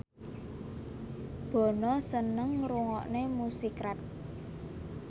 Bono seneng ngrungokne musik rap